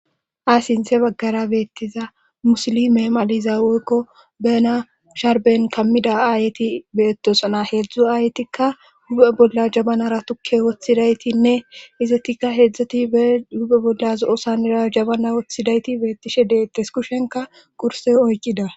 Ayssintse baggara beettiza musilimeemaliza woykko bena sharben kammida aayeti beettosana heedzdzu ayetikka gu'e bolla jabanara tukke woththidaytinne izetikka heedzdzati be hupe bolla zo'osanira jabana woththidayti beettishe deettes kushenka kurse oykida.